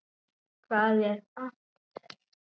Hvað er amper?